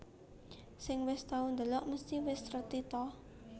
Sing wis tau ndelok mesti wis reti ta